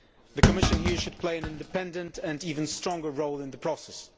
The Commission here should play an independent and even stronger role in the process.